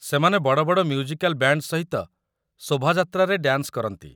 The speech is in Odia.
ସେମାନେ ବଡ଼ ବଡ଼ ମ୍ୟୁଜିକାଲ୍ ବ୍ୟାଣ୍ଡ୍ ସହିତ ଶୋଭାଯାତ୍ରାରେ ଡ୍ୟାନ୍ସ କରନ୍ତି ।